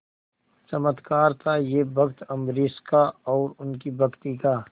चमत्कार था यह भक्त अम्बरीश का और उनकी भक्ति का